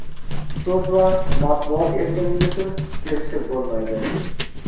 so‘z va matbuot erkinligisiz erishib bo‘lmaydi.